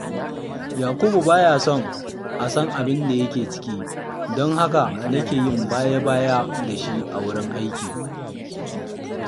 Yakubu ba ya so a san abin da yake ciki, don haka nake yin baya-baya da shi a wurin aiki